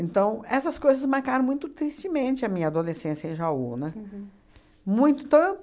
essas coisas marcaram muito tristemente a minha adolescência em Jaú, né? Uhum. Muito então